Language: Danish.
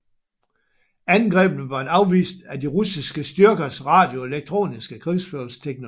Angrebene var blevet afvist af de russiske styrkers radioelektroniske krigsførelsesteknologi